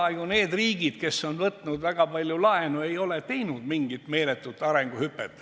Aga ega need riigid, kes on võtnud väga palju laenu, ei ole ju teinud mingit meeletut arenguhüpet.